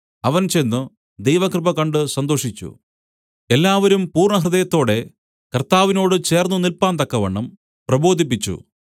അവൻ ചെന്ന് ദൈവകൃപ കണ്ട് സന്തോഷിച്ചു എല്ലാവരും പൂർണ്ണഹൃദയത്തോടെ കർത്താവിനോട് ചേർന്നുനില്പാന്തക്കവണ്ണം പ്രബോധിപ്പിച്ചു